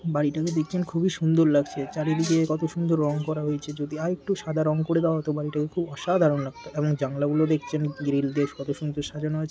বাড়িটাকে দেখছেন খুবই সুন্দর লাগছে। চারিদিকে কত সুন্দর রং করা হয়েছে। যদি আরেকটু সাদা রং করে দেওয়া হতো বাড়ি টাকে খুব অসাধারণ লাগতো এবং জানলা গুলো দেখছেন গিরিল দিয়ে কত সুন্দর সাজানো আছে।